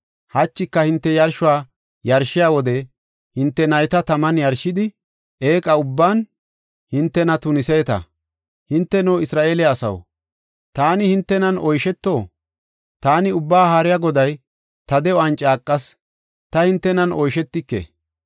Hachika hinte yarshuwa yarshiya wode hinte nayta taman yarshidi, eeqa ubban hintena tuniseeta. Hinteno, Isra7eele asaw, taani hintenan oysheto? Taani Ubbaa Haariya Goday ta de7uwan caaqas: ta hintenan oyshetike.